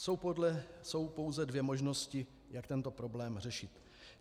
Jsou pouze dvě možnosti, jak tento problém řešit.